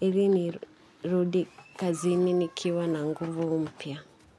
Ili nirudi kazini nikiwa na nguvu mpya.